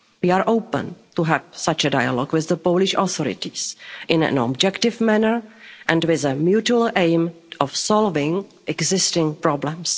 We are open to having such a dialogue with the Polish authorities in an objective manner and with a mutual aim of solving existing problems.